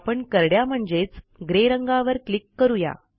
आपण करड्या म्हणजेच ग्रे रंगावर क्लिक करू या